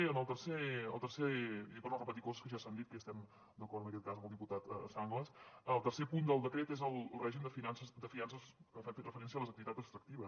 i ho dic per no repetir coses que ja s’han dit que estem d’acord en aquest cas amb el diputat sanglas el tercer punt del decret és el règim de fiances que fa referència a les activitats extractives